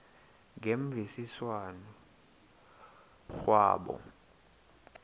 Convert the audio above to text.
ngemvisiswano r kwabo